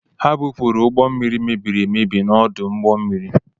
E bupụrụ ụgbọ mmiri mebiri emebi n’ọdụ ụgbọ mmiri